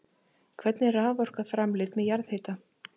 Hvernig er raforka framleidd með jarðhita?